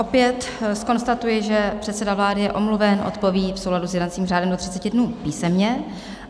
Opět zkonstatuji, že předseda vlády je omluven, odpoví v souladu s jednacím řádem do 30 dnů písemně.